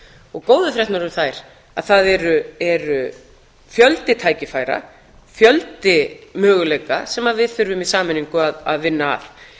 og góðu fréttirnar eru þær að það er fjöldi tækifæra fjöldi möguleika sem við þurfum í sameiningu að vinna að mig